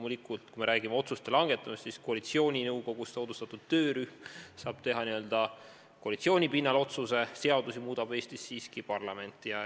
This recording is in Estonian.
Ja kui me räägime otsuste langetamisest, siis koalitsiooninõukogus moodustatud töörühm saab loomulikult teha vaid n-ö koalitsiooni pinnal otsuse, seadusi muudab Eestis siiski parlament.